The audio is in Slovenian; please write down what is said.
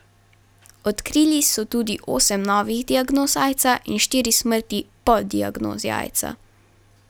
Odkrili so tudi osem novih diagnoz aidsa in štiri smrti po diagnozi aidsa.